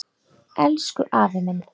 Elsku afi minn.